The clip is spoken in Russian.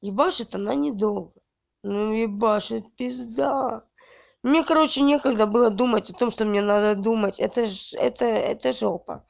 ебашит она недолго но ебашит пизда мне короче некогда было думать о том что мне надо думать это ж это это ж жопа